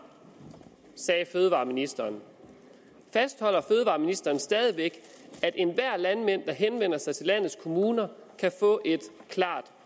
sagde fødevareministeren fastholder fødevareministeren stadig væk at enhver landmand der henvender sig til landets kommuner kan få et klart